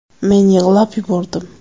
Men yig‘lab yubordim.